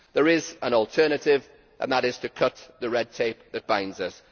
There is an alternative, and that is to cut the red tape that binds us